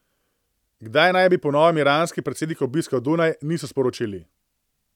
Kdaj naj bi po novem iranski predsednik obiskal Dunaj, niso sporočili.